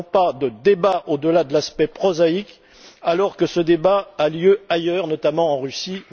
Nous n'avons pas de débat au delà de l'aspect prosaïque alors que ce débat a lieu ailleurs, notamment en Russie.